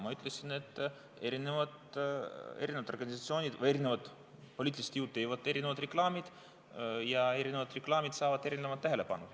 Ma ütlesin, et erinevad organisatsioonid või erinevad poliitilised jõud teevad erinevaid reklaame ja erinevad reklaamid saavad erinevat tähelepanu.